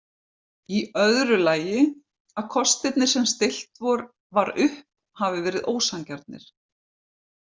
Í öðru lagi að kostirnir sem stillt var upp hafi verið ósanngjarnir.